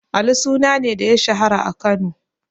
Alu suna ne da ya shahara a Kano?